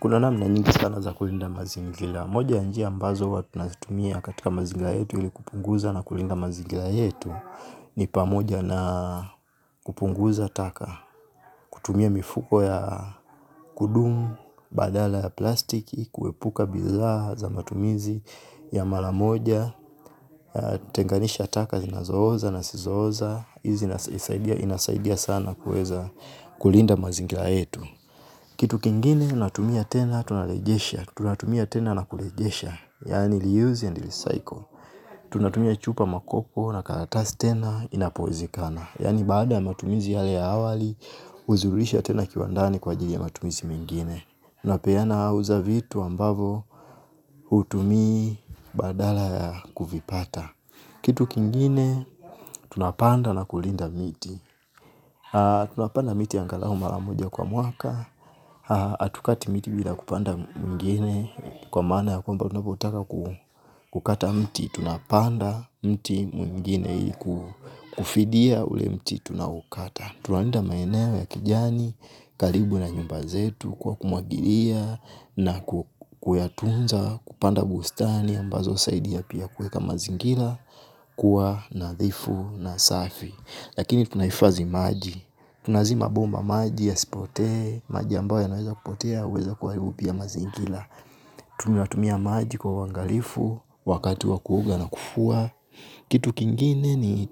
Kuna namna nyingi sana za kulinda mazingira, moja ni njia ambazo huwa tunazitumia katika mazingira yetu ili kupunguza na kulinda mazingila yetu ni pamoja na kupunguza taka kutumia mifuko ya kudumu, badala ya plastiki, kuepuka bidhaa za matumizi ya mara moja, kutenganisha taka zinazooza na zisizooza, hizi zinasaidia sana kuweza kulinda mazingira yetu. Kitu kingine tunatumia tena tunarejesha. Tunatumia tena na kurejesha. Yaani re-use and recycle tunatumia chupa na karatasi tena inapowezekana. Yani baada ya matumizi yale ya awali kuzirudisha tena kiwandani kwa ajili ya matumizi mengine. Unapeana au uza vitu ambavyo hutumii badala ya kuvipata. Kitu kingine, tunapanda na kulinda miti. Tunapanda miti angalau mara moja kwa mwaka hatukati miti bila kupanda mwingine kwa maana ya kwamba unapotaka kukata mti tunapanda mti mwingine ili kufidia ule mti tunaoukata tunalinda maeneo ya kijani karibu na nyumba zetu kwa kumwagilia na kuyatunza kupanda bustani ambazo husaidia pia kuweka mazingira kuwa nadhifu na safi. Lakini tunahifadhi maji. Tunazima bomba maji yasipotee maji ambayo yanaweza kupotea huweza kuharibu pia mazingira. Tunatumia maji kwa uangalifu wakati wa kuoga na kufua. Kitu kingine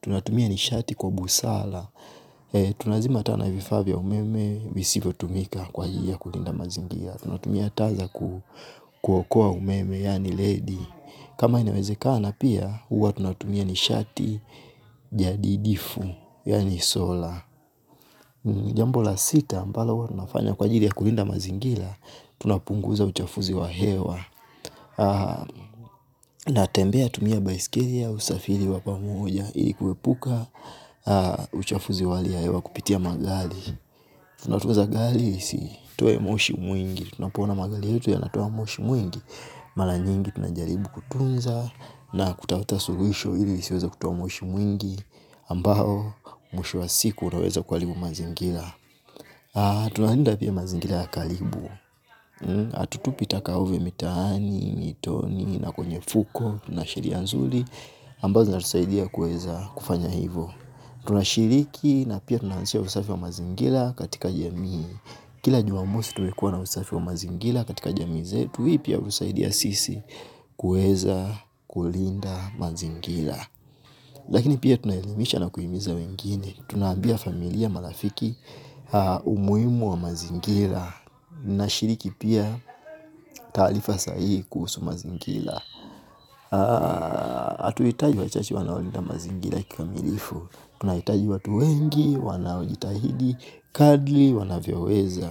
tunatumia ni sharti kwa busara tunazima taa na vifaa vya umeme visivyotumika kwa ajili ya kulinda mazingira tunatumia taa za kuokoa umeme yaani ledi. Kama inawezekana pia huwa tunatumia nishati jadidifu yani sola, jambo la sita ambalo huwa tunafanya kwa ajili ya kulinda mazingira tunapunguza uchafuzi wa hewa. Na tembea kutumia baisikeli au usafiri wa pamoja ili kuepuka uchafuzi wa hali ya hewa kupitia madhali tunapunguza gari isitoe moshi mwingi. Tunapoona magari yetu yanatoa moshi mwingi. Mara nyingi tunajaribu kutunza na kutafuta suluhisho ili isiweze kutoa moshi mwingi ambao mwisho wa siku unaweza kuharibu mazingira tunalinda pia mazingira ya karibu hatutupi taka mitaani, mito na kwenye fuko na sheria nzuri ambazo zinatusaidia kuweza kufanya hivo. Tunashiriki na pia tunahamasisha usafi wa mazingira katika jamii. Kila jumamosi tunaweza kuwa na usafi wa mazingira katika jamii zetu. Hii pia hutusaidia sisi kuweza kulinda mazingira. Lakini pia tunaelimisha na kuhimiza wengine. Tunawaambia familia marafiki umuhimu wa mazingira. Nashiriki pia taarifa sahihi kuhusu mazingira. Atuhitaji wachache wanaolinda mazingira kikamilifu tunahitaji watu wengi, wanaojitahidi, kadri, wanavyoweza.